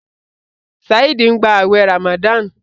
Saheed ń gbà awé ramadan.